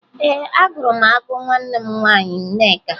Ee, agụrụ m agụ nwa m nwaanyị Nneka